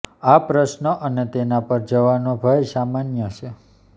આ પ્રશ્નો અને તેના પર જવાનો ભય સામાન્ય છે